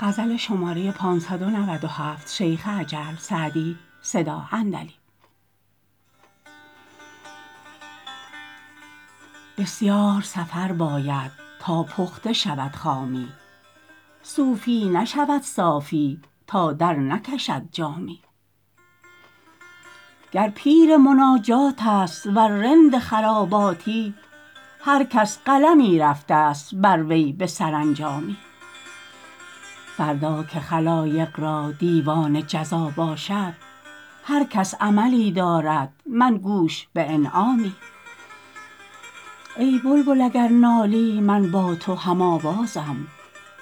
بسیار سفر باید تا پخته شود خامی صوفی نشود صافی تا درنکشد جامی گر پیر مناجات است ور رند خراباتی هر کس قلمی رفته ست بر وی به سرانجامی فردا که خلایق را دیوان جزا باشد هر کس عملی دارد من گوش به انعامی ای بلبل اگر نالی من با تو هم آوازم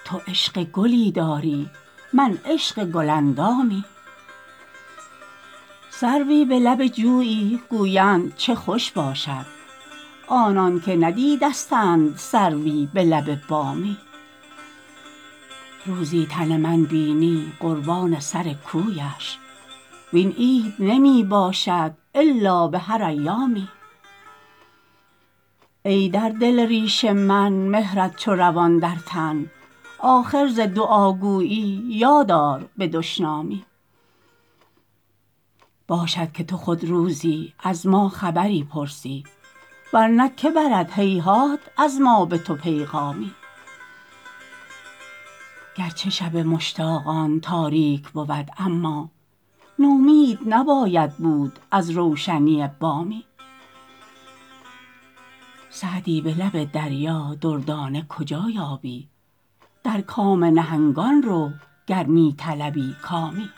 تو عشق گلی داری من عشق گل اندامی سروی به لب جویی گویند چه خوش باشد آنان که ندیدستند سروی به لب بامی روزی تن من بینی قربان سر کویش وین عید نمی باشد الا به هر ایامی ای در دل ریش من مهرت چو روان در تن آخر ز دعاگویی یاد آر به دشنامی باشد که تو خود روزی از ما خبری پرسی ور نه که برد هیهات از ما به تو پیغامی گر چه شب مشتاقان تاریک بود اما نومید نباید بود از روشنی بامی سعدی به لب دریا دردانه کجا یابی در کام نهنگان رو گر می طلبی کامی